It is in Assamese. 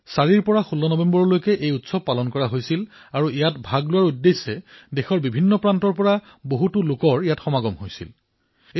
৪ নৱেম্বৰৰ পৰা ১৬ নৱেম্বৰলৈ এই উৎসৱ আয়োজিত কৰা হৈছিল আৰু এই ব্ৰহ্মপুত্ৰ পুষ্কৰত অংশগ্ৰহণ কৰাৰ বাবে দেশৰ বিভিন্ন প্ৰান্তৰ পৰা বহু লোক আহিছিল